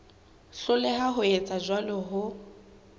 hloleha ho etsa jwalo ho